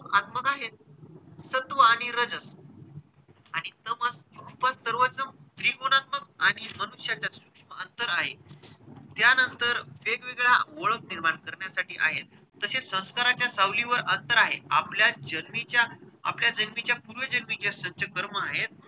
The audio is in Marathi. त्रिगुणात्मक आणि सूक्ष्म अंतर आहे. त्यांनतर वेगवगेळ्या ओळख निर्माण करण्यासाठी आहेत. तसेच संस्काराच्या सावलीवर अंतर आहे. आपल्या जन्मीच्या आपल्या जन्मीच्या पूर्वजन्मीचे जे संचित कर्म आहेत,